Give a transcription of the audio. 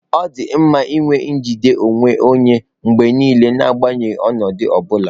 Ọ dị mma inwe njide onwe onye mgbe niile, n'agbanyeghị ọnọdụ ọ bula.